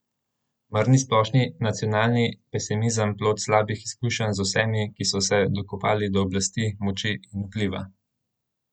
Mar ni splošni nacionalni pesimizem plod slabih izkušenj z vsemi, ki so se dokopali do oblasti, moči in vpliva?